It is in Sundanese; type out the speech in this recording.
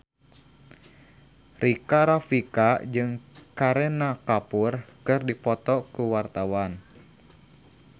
Rika Rafika jeung Kareena Kapoor keur dipoto ku wartawan